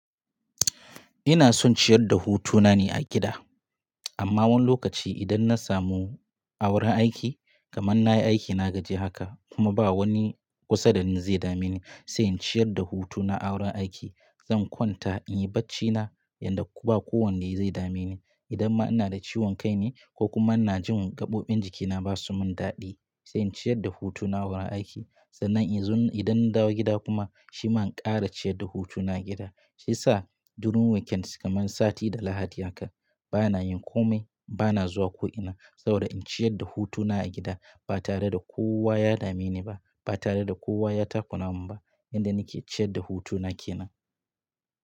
Ina son ciyar da hutu na ne a gida. Amma wani lokaci idan na samu a wuren aiki, kamar na yi aiki na gaji haka kuma ba wani kusa da ni zai dame ni sai in ciyar da hutuna a wuren aiki, zan kwanta in yi barci na inda ba kowanne zai dame ni. Idan ma ina da ciwon kai ne ko kuma ina jin gaɓoɓin jikina ba su mun daɗi, sai in ciyar da hutu na a wuren aiki. Sannan in zo idan na dawo gida kuma shima in ƙara ciyar da hutu na gida. Shi sa a during weekends kamar sati da Lahadi haka bana yin kome, bana zuwa ko'ina saboda in ciyar da hutuna a gida ba tare da kowa ya dame ni ba, ba tare da kowa ya takura mun inda nake ciyar da hutuna kenan.